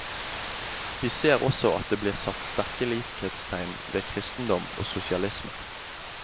Vi ser også at det blir satt sterke likhetstegn ved kristendom og sosialisme.